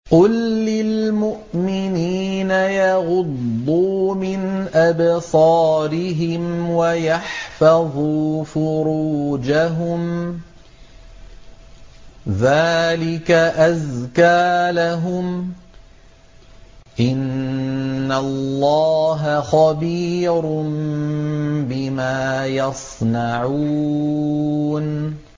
قُل لِّلْمُؤْمِنِينَ يَغُضُّوا مِنْ أَبْصَارِهِمْ وَيَحْفَظُوا فُرُوجَهُمْ ۚ ذَٰلِكَ أَزْكَىٰ لَهُمْ ۗ إِنَّ اللَّهَ خَبِيرٌ بِمَا يَصْنَعُونَ